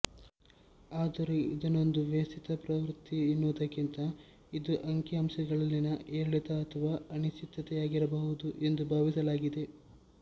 ಆದರೂ ಇದನ್ನೊಂದು ವ್ಯವಸ್ಥಿತ ಪ್ರವೃತ್ತಿ ಎನ್ನುವುದಕ್ಕಿಂತ ಇದು ಅಂಕಿಅಂಶಗಳಲ್ಲಿನ ಏರಿಳಿತ ಅಥವಾ ಅನಿಶ್ಚಿತತೆಯಾಗಿರಬಹುದು ಎಂದು ಭಾವಿಸಲಾಗಿದೆ